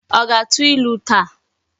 O ga-atu ilu taa?